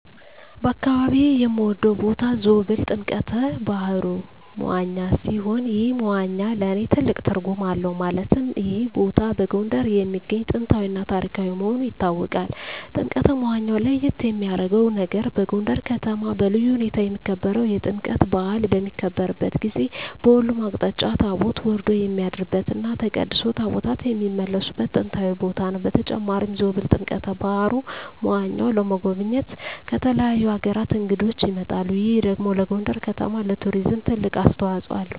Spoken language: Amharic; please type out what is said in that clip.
በአካባቢየ የምወደው ቦታ ዞብል ጥምቀተ ባህሩ (መዋኛ) ሲሆን ይህ መዋኛ ለእኔ ትልቅ ትርጉም አለው ማለትም ይህ ቦታ በጎንደር የሚገኝ ጥንታዊ እና ታሪካዊ መሆኑ ይታወቃል። ጥምቀተ መዋኛው ለየት የሚያረገው ነገር በጎንደር ከተማ በልዩ ሁኔታ የሚከበረው የጥምቀት በአል በሚከበርበት ጊዜ በሁሉም አቅጣጫ ታቦት ወርዶ የሚያድርበት እና ተቀድሶ ታቦታት የሚመለስበት ጥንታዊ ቦታ ነው። በተጨማሪም ዞብል ጥምቀተ በሀሩ (መዋኛው) ለመጎብኘት ከተለያዩ አገራት እንግዶች ይመጣሉ ይህ ደግሞ ለጎንደር ከተማ ለቱሪዝም ትልቅ አስተዋጽኦ አለው።